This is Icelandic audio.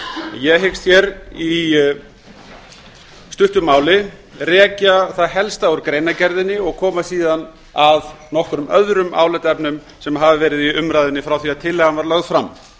ég hyggst í stuttu máli rekja það helsta úr greinargerðinni og koma síðan að nokkrum öðrum álitaefnum sem hafa verið í umræðunni frá því að tillagan var lögð fram